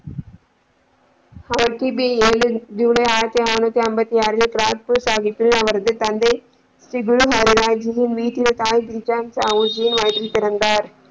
அவர் கிபி ஏழு ஜூலை ஆயிரத்திஅறுநூற்று ஐம்பத்தி ஆறு ராஜ்புட் சாகிப் அவரது தந்தை ஸ்ரீ குர வீட்டின் தாய் சாகிர் ஜி வயிற்றில் பிறந்தார்.